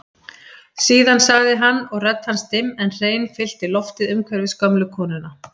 Síðan sagði hann og rödd hans dimm en hrein fyllti loftið umhverfis gömlu konuna